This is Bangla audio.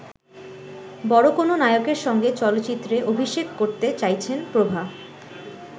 বড় কোন নায়কের সঙ্গে চলচ্চিত্রে অভিষেক করতে চাইছেন প্রভা।